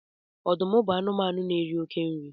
ọdụm bu anụmanụ n'eri oke nri